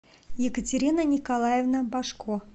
екатерина николаевна башко